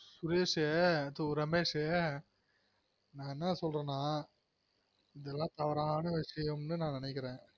சுரேஷ் ரமேஷ் நான் என்ன சொல்றனா இதுலான் தவறான விசயம்னு நான் நெனைக்கிறென்